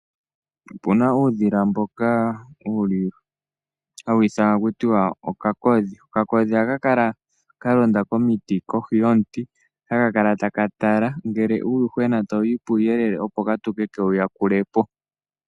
Ope na uudhila mboka hawu ithanwa takuti okakodhi. Ohaka kala kalonda komiti kohi yomuti taka tala ngele uuyuhwena tawu ya puuyelele, opo ka tuke kewu yakule po.